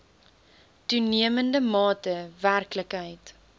toenemende mate werklikheid